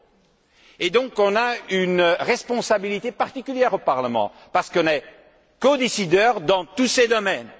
Nous avons donc une responsabilité particulière au Parlement parce que nous sommes codécideurs dans tous ces domaines.